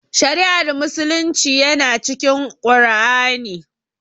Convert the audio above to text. Shari'ar musulunci yana cikin Qur'ani